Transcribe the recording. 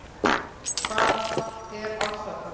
Hvað er ofsatrú?